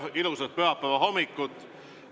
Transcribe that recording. Tere ja ilusat pühapäevahommikut!